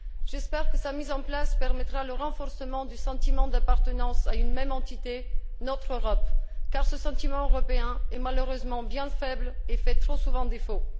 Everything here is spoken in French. J'espère que sa mise en place permettra le renforcement du sentiment d'appartenance à une même entité, notre Europe, car ce sentiment européen est malheureusement bien faible et fait trop souvent défaut.